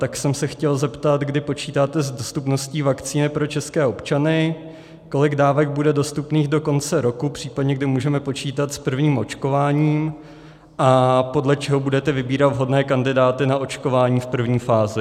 Tak jsem se chtěl zeptat, kdy počítáte s dostupností vakcíny pro české občany, kolik dávek bude dostupných do konce roku, případně kdy můžeme počítat s prvním očkováním a podle čeho budete vybírat vhodné kandidáty na očkování v první fázi.